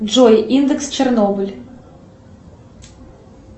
джой индекс чернобыль